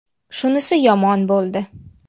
Shunisi yomon bo‘ldi.